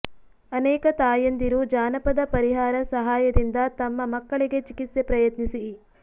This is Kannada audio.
ಅನೇಕ ತಾಯಂದಿರು ಜಾನಪದ ಪರಿಹಾರ ಸಹಾಯದಿಂದ ತಮ್ಮ ಮಕ್ಕಳಿಗೆ ಚಿಕಿತ್ಸೆ ಪ್ರಯತ್ನಿಸಿ